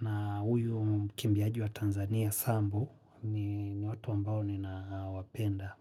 na huyu mkimbiaji wa Tanzania sambu ni watu ambao ni na wapenda.